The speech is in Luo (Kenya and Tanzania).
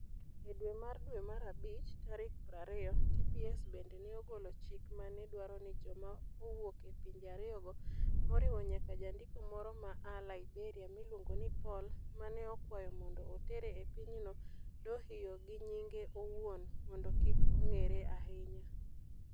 E dwe mar dwe mara bich tarik 20, TPS bende ne ogolo chik ma ne dwaro ni joma owuok e pinje ariyogo, moriwo nyaka jandiko moro ma a Liberia miluongo ni Paul, ma ne okwayo mondo otere e pinyno Dohoiyo gi nyinge owuon mondo kik ong'ere ahinya.